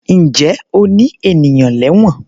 Ǹjẹ́ o ní ènìyàn lẹ́wọ̀n?